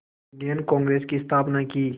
Indian Congress की स्थापना की